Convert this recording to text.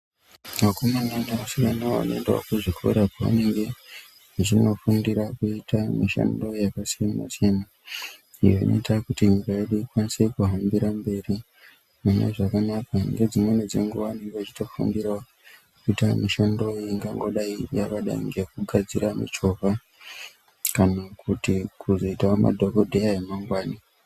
Vakomana nevasikana vanoendawo kuzvikora kwaanenge vachinofundira kuita mishando yakasiyanasiyana iyo inoita kuti nyika yedu ikwanise kuhambira mberi munezvakanaka, ngedzimweni dzenguwa tinenge tichitofambira wo kuita mishando ingangodai ngekugadzira michovha kanakuzoita madhokodheya emangwani.